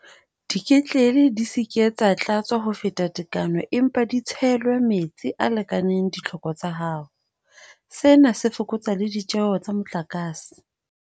Diketlele di se ke tsa tlatswa ho feta tekano empa di tshelwe metsi a lekaneng ditlhoko tsa hao. Sena se fokotsa le ditjeho tsa motlakase.